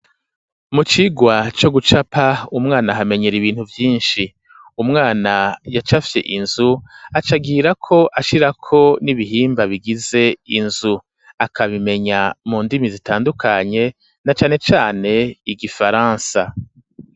Mu cigwa co gucapa, umwana ahamenyera ibintu vyinshi, umwana yacafye inzu aca agirako ashirako n'ibihimba bigize inzu, akabimenya mu ndimi zitandukanye, na cane cane igifaransa.